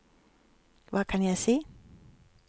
hva kan jeg si